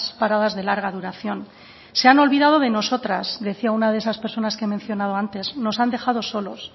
paradas de larga duración se han olvidado de nosotras decía una de esas personas que he mencionado antes nos han dejado solos